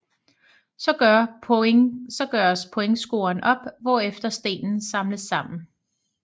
Så gøres pointscoren op hvorefter stenen samles sammen